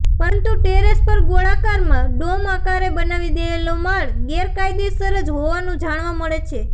પરંતુ ટેરેશ પર ગોળાકારમાં ડોમ આકારે બનાવી દેવાયેલો માળ ગેરકાયદેસર જ હોવાનું જાણવા મળે છે